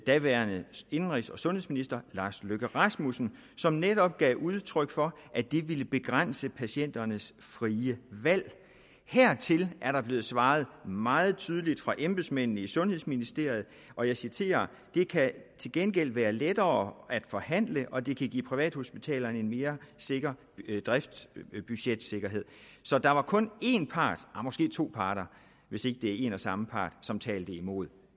daværende indenrigs og sundhedsminister lars løkke rasmussen som netop gav udtryk for at det ville begrænse patienternes frie valg hertil er der blevet svaret meget tydeligt fra embedsmændene i sundhedsministeriet og jeg citerer det kan til gengæld være lettere at forhandle og det kan give privathospitalerne en mere sikker driftsbudgetsikkerhed så der var kun en part nej måske to parter hvis ikke det var en og samme part som talte imod